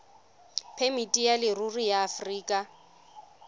phemiti ya leruri ya aforika